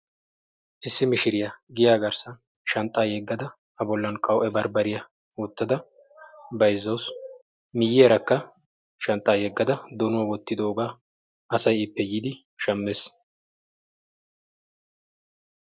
Issi mishiriya giya garssan shanxxan hiixxada a bollan qawu''e barbbariyaa bayzzawus. Shanxxan yeggada donuwa wottidoogaasay ippe yiidi shammees.